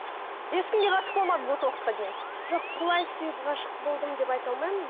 ешкімге ғашық болмадыңыз осы уақытқа дейін жоқ құлай сүйіп ғашық болдым деп айта алмаймын